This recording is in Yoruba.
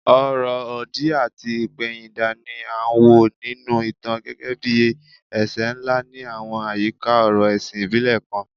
Ọ̀rọ̀ òdì àti ìpẹ̀yìndà ni a wò nínú ìtàn gẹ́gẹ́ bí ẹ̀ṣẹ̀ ńlá ní àwọn àyíká ọ̀rọ̀ ẹ̀sìn ìbílẹ̀ kan